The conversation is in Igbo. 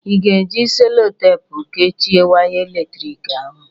Ị ga-eji Sellotepụ kechịe waya eletrik ahụ?